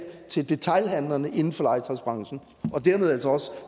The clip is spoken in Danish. til detailhandlerne inden for legetøjsbranchen og dermed altså